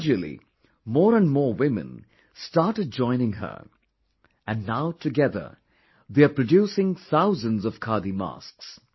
Gradualy more and more women started joining her and now together they are producing thousands of khadi masks